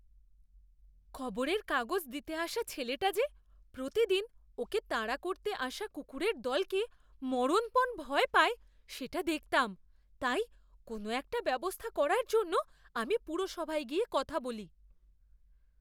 খবরের কাগজ দিতে আসা ছেলেটা যে প্রতিদিন ওকে তাড়া করতে আসা কুকুরের দলকে মরণপণ ভয় পায় সেটা দেখতাম। তাই, কোনও একটা ব্যবস্থা করার জন্য আমি পুরসভায় গিয়ে কথা বলি।